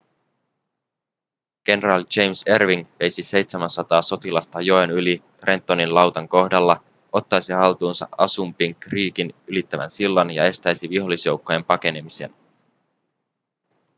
kenraali james erwing veisi 700 sotilasta joen yli trentonin lautan kohdalla ottaisi haltuunsa assunpink creekin ylittävän sillan ja estäisi vihollisjoukkojen pakenemisen